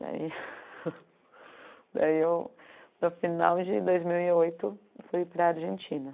Daí daí eu, no final de dois mil e oito, fui para a Argentina.